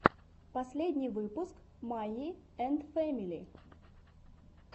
последний выпуск майи энд фэмили